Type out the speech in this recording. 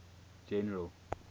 general